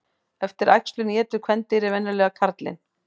Eftir æxlun étur kvendýrið venjulega karlinn.